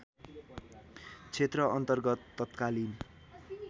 क्षेत्र अन्तर्गत तत्कालीन